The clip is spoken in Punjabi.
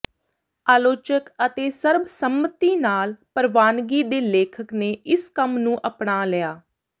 ਆਲੋਚਕ ਅਤੇ ਸਰਬਸੰਮਤੀ ਨਾਲ ਪ੍ਰਵਾਨਗੀ ਦੇ ਲੇਖਕ ਨੇ ਇਸ ਕੰਮ ਨੂੰ ਅਪਣਾ ਲਿਆ